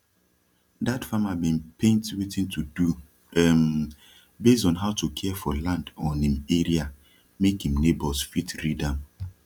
dat farmer bin paint wetin to do um base on how to care for land on im area make im neighbours fit read am